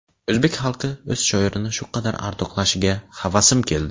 O‘zbek xalqi o‘z shoirini shu qadar ardoqlashiga havasim keldi”.